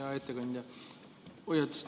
Hea ettekandja!